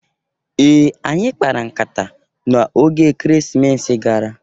Ee! Anyị kpara nkata n'oge Ekeresimesi gara.